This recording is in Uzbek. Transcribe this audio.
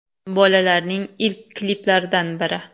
“Bolalar”ning ilk kliplaridan biri.